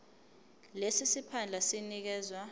lesi siphandla sinikezwa